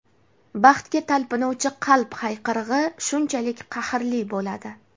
baxtga talpinuvchi qalb hayqirig‘i shunchalik qahrli bo‘ladi.